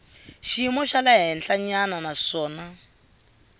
xiyimo xa le henhlanyana naswona